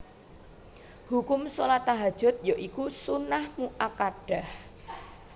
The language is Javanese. Hukum shalat Tahajjud ya iku sunnah muakkadah